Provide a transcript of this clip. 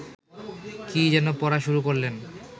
কী যেন পড়া শুরু করলেন